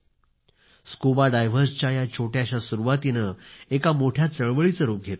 या स्कुबा डायव्हर्सच्या एका छोट्याश्या सुरुवातीने एका मोठ्या चळवळीचं रूप घेतले आहे